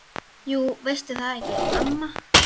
Jú veistu það ekki, amma?